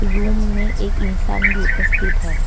Room में एक इंसान भी उपस्थित है ।